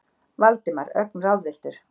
Valdimar, ögn ráðvilltur.